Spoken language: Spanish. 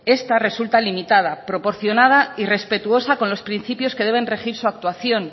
esta resulta limitada proporcionada y respetuosa con los principios que deben regir su actuación